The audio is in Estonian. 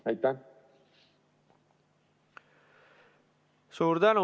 Suur tänu!